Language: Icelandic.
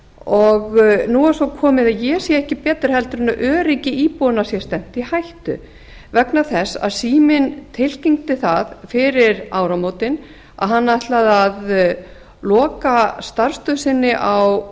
og nú er svo komið að ég sé ekki betur heldur en öryggi íbúanna sé stefnt í hættu vegna þess að síminn tilkynnti það fyrir áramótin að hann ætlaði að loka starfsstöð sinni á